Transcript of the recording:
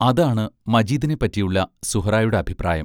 അതാണ് മജീദിനെപ്പറ്റിയുള്ള സുഹ്റായുടെ അഭിപ്രായം.